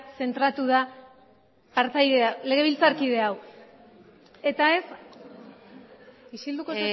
zentratu da partaidea legebiltzarkide hau eta ez isilduko